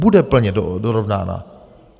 Bude plně dorovnána.